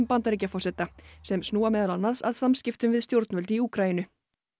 Bandaríkjaforseta sem snúa meðal annars að samskiptum við stjórnvöld í Úkraínu